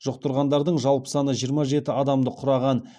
жұқтырғандардың жалпы саны жиырма жеті адамды құраған